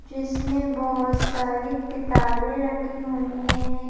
जिसमें बहुत सारी किताबें रखी हुई हैं।